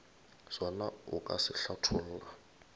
sona o ka se hlatholla